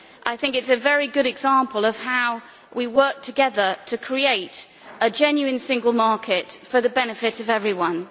This is a very good example of how we work together to create a genuine single market for the benefit of everyone.